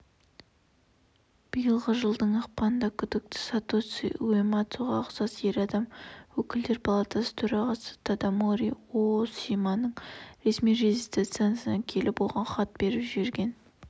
биылғы жылдың ақпанында күдікті сатоси уэмацуға ұқсас ер адам өкілдер палатасы төрағасы тадамори оосиманың ресми резиденциясына келіп оған хат беріп жіберген